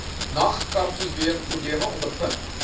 nag karprobleme ondervind